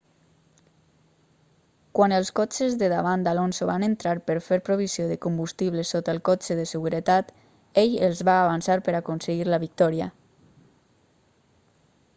quan els cotxes de davant d'alonso van entrar per fer provisió de combustible sota el cotxe de seguretat ell els va avançar per aconseguir la victòria